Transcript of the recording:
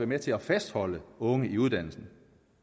med til at fastholde unge i uddannelsen